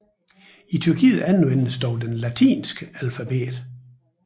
I Tyrkiet anvendes dog det latinske alfabet